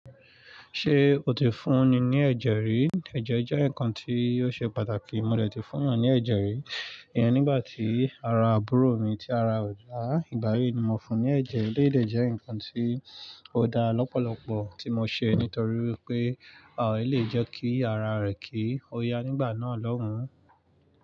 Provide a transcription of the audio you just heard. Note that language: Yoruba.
Ṣé o ti fún ni ní ẹ̀jẹ̀ rí? Ẹ̀jẹ̀ jẹ́ nǹkan tí yóò ṣe pàtàkì. Mo lè ti fún ìyàn ní ẹ̀jẹ̀ rí. Iyàn nígbà tí ara àbúrò mi tí ara ò dá, ìgbà yí ni mo fún un ní ẹ̀jẹ̀. Eléyìí jẹ́ nǹkan tí ó da lọ́pọ̀lọpọ̀ tí mo ṣe nítorí wípé àwọn yìí lè jẹ́ kí ara rẹ kí ó ya nígbà náà lọ́hun.